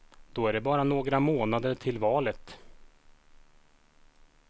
Då är det bara några månader till valet.